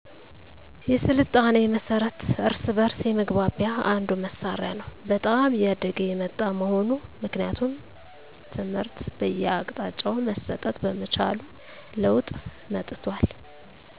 የሥልጣኔ መሠረት እርስ በእርስ የመግባቢያ አንዱ መሣሪያ ነው በጣም እያደገ የመጣ መሆኑ ምክንያቱም ትምህር በየአቅጣጫው መሠጠት በመቻሉ ለወጥ መጠቷል